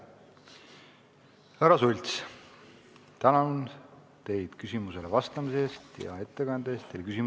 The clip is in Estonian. Härra Sults, tänan teid küsimusele vastamise ja ettekande eest!